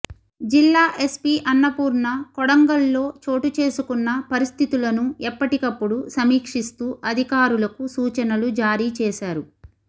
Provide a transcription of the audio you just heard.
జిల్లా ఎస్పి అన్నపూర్ణ కొడంగల్లో చోటు చేసుకున్న పరిస్థితులను ఎప్పటికపుప్పుడు సమీక్షిస్తూ అధికారులకు సూచనలు జారీ చేశారు